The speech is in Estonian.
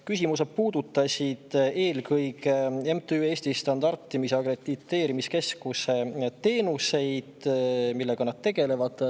Küsimused puudutasid eelkõige MTÜ Standardimis‑ ja Akrediteerimiskeskuse teenuseid, seda, millega nad tegelevad.